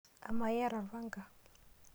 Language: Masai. Amaa iyata orpanga/